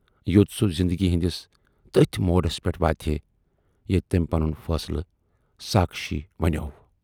یود سُہ زِندگی ہٕندِس تٔتھۍ موڈس پٮ۪ٹھ واتہِ ہے ییتہِ تٔمۍ پنُن فٲصلہٕ ساکھشی ونیاو۔